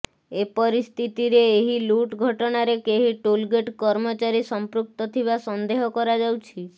ଏପରିସ୍ଥିତିରେ ଏହି ଲୁଟ୍ ଘଟଣାରେ କେହି ଟୋଲଗେଟ୍ କର୍ମଚାରୀ ସମ୍ପୃକ୍ତ ଥିବା ସନ୍ଦେହ କରାଯାଉଛି